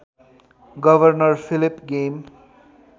governor Philip game